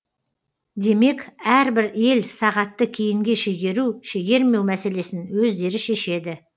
демек әрбір ел сағатты кейінге шегеру шегермеу мәселесін өздері шешеді